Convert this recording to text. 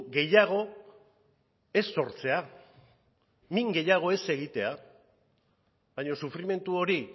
gehiago ez sortzea min gehiago ez egitea baina sufrimendu hori